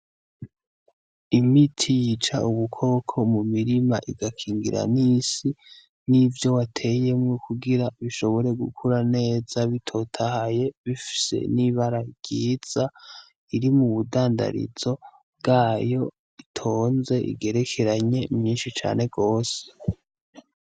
Imiti yica ubukoko mu murima igakingira n'isi, n'ivyo wateyemwo, kugira bishobore gukura neza bitotahaye bifise n'ibara ryiza, iri mu budandarizo bwayo itonze, igerekeranye, myinshi cane gose.